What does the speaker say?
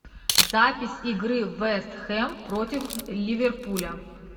запись игры вест хэм против ливерпуля